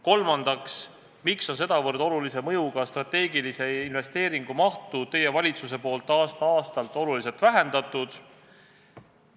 Kolmandaks, miks on teie valitsus sedavõrd olulise mõjuga strateegilise investeeringu mahtu aasta-aastalt oluliselt vähendanud?